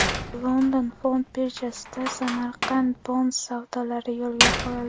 London fond birjasida Samarkand Bonds savdolari yo‘lga qo‘yildi.